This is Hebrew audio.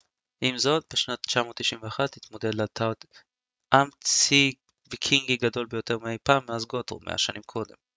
עם זאת בשנת 991 התמודד אתלרד עם צי ויקינגי גדול יותר מאי פעם מאז גות'רום מאה שנים קודם